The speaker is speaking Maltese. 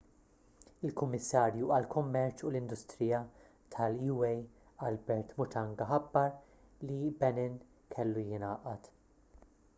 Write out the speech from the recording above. il-kummissarju għall-kummerċ u l-industrija tal-ua albert muchanga ħabbar li benin kellu jingħaqad